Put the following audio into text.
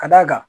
Ka d'a kan